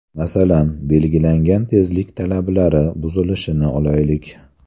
Masalan, belgilangan tezlik talablari buzilishini olaylik.